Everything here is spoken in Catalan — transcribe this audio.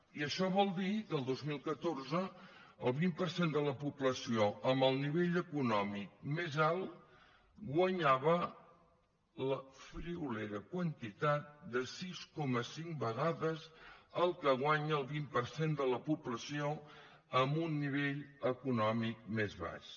i això vol dir que el dos mil catorze el vint per cent de la població amb el nivell econòmic més alt guanyava la friolera quantitat de sis coma cinc vegades el que guanya el vint per cent de la població amb un nivell econòmic més baix